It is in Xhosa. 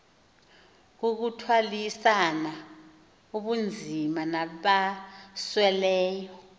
kukuthwalisana ubunzima nabasweleyo